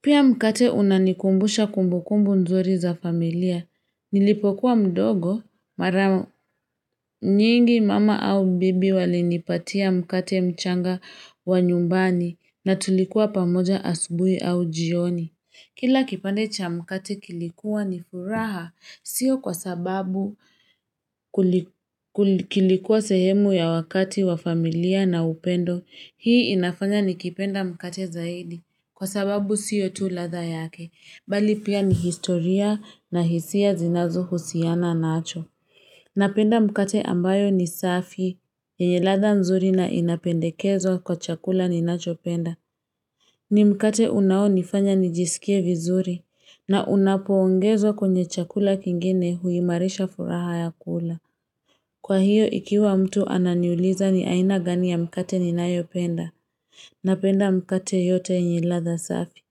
pia mkate unanikumbusha kumbukumbu nzuri za familia nilipokuwa mdogo mara mingi mama au bibi walinipatia mkate mchanga wa nyumbani na tulikuwa pamoja asubuhi au jioni kila kipande cha mkate kilikuwa ni furaha sio kwa sababu kilikuwa sehemu ya wakati wa familia na upendo hii inafanya nikipenda mkate zaidi kwa sababu sio tu ladha yake bali pia ni historia na hisia zinazo husiana nacho napenda mkate ambayo ni safi yenye ladha nzuri na inapendekezwa kwa chakula ninachopenda ni mkate unao nifanya nijisikie vizuri na unapo ongezwa kwenye chakula kingine huimarisha furaha ya kula kwa hiyo ikiwa mtu ananiuliza ni aina gani ya mkate ninayopenda napenda mkate yote yenye ladha safi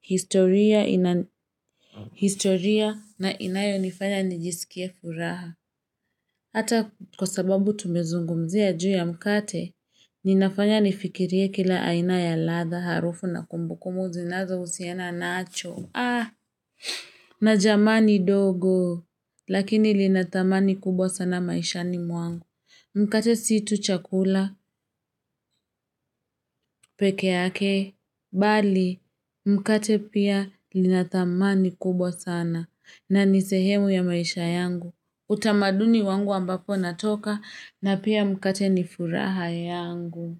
historia ina historia na inayonifanya nijisikie furaha hata kwa sababu tumezungumzia juu ya mkate linafanya nifikirie kila aina ya ladha harufu na kumbukumbu zinazohusiana nacho na jamani ndogo lakini lina dhamani kubwa sana maishani mwangu mkate si tu chakula peke yake bali mkate pia lina dhamani kubwa sana na ni sehemu ya maisha yangu utamaduni wangu ambapo ninatoka na pia mkate ni furaha yangu.